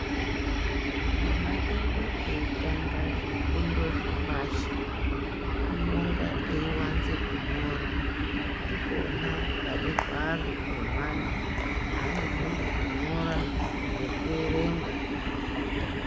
Ana edu eitanga zvifundo zvepashi anonga eivanze kunyora. Ndipona pane hwaro hwemwana panofunde kunyora ngekuerenga.